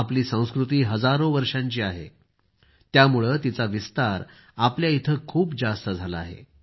आपली संस्कृती हजारो वर्षांची आहे त्यामुळे तिचा विस्तार आपल्या इथं खूप जास्त झाला आहे